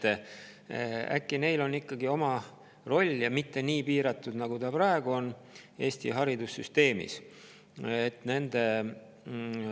Äkki on nendel ikkagi oma roll ja mitte nii piiratud roll, nagu neil praegu Eesti haridussüsteemis on.